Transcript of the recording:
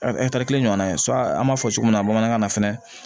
kelen ɲɔgɔn na ye an b'a fɔ cogo min na bamanankan na fɛnɛ